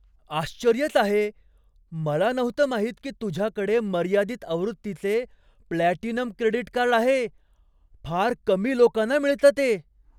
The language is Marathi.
आश्चर्यच आहे! मला नव्हतं माहित की तुझ्याकडे मर्यादित आवृत्तीचे प्लॅटिनम क्रेडिट कार्ड आहे. फार कमी लोकांना मिळतं ते.